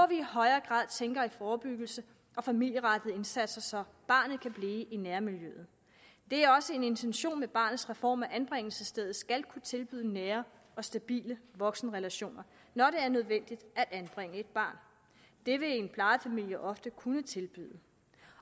vi i højere grad tænker i forebyggelse og familierettede indsatser så barnet kan blive i nærmiljøet det er også en intention med barnets reform at anbringelsesstedet skal kunne tilbyde nære og stabile voksenrelationer når det er nødvendigt at anbringe et barn det vil en plejefamilie ofte kunne tilbyde